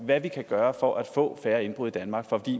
hvad vi kan gøre for at få færre indbrud i danmark for